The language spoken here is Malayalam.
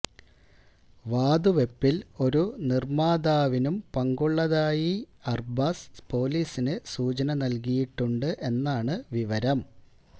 വാതുവെപ്പിൽ ഒരു നിർമ്മാതാവിനും പങ്കുള്ളതായി അർബാസ് പൊലീസിന് സൂചന നൽകിയിട്ടുണ്ട് എന്നാണ് വിവരം